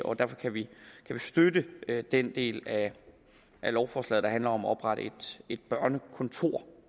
og derfor kan vi støtte den del af lovforslaget der handler om at oprette et børnekontor